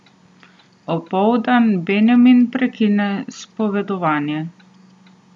Opoldan Benjamin prekine spovedovanje.